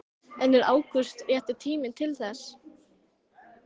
En er ágúst rétti tíminn til þess?